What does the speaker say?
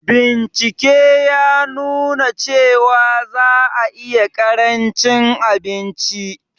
Bincike ya nuna cewa za a iya ƙarancin abinci